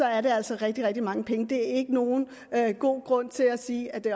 er det altså rigtig rigtig mange penge det er ikke nogen god grund til at sige at det